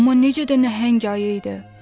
Amma necə də nəhəng ayı idi!